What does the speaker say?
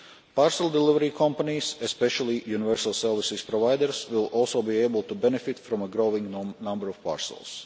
Parcel delivery companies, especially universal service providers, will also be able to benefit from a growing number of parcels.